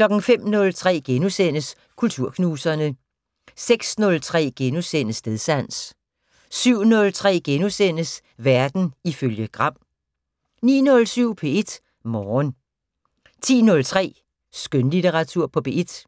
05:03: Kulturknuserne * 06:03: Stedsans * 07:03: Verden ifølge Gram * 09:07: P1 Morgen 10:03: Skønlitteratur på P1